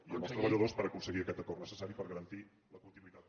i amb els treballadors per aconseguir aquest acord necessari per garantir la continuïtat del